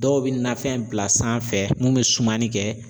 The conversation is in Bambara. Dɔw bi nafɛn bila sanfɛ mun bi sumani kɛ